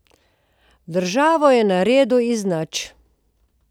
Državo je naredil iz nič.